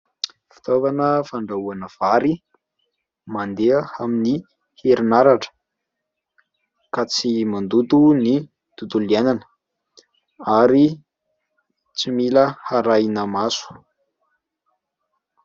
Fiitaovana fandrahoana vary mandeha amin'ny herinaratra ka tsy mandoto ny tontonlo iainana ary tsy mila arahina maso.